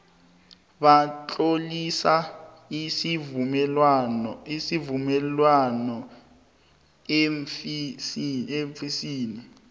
batlolisa isivumelwaneso eofisini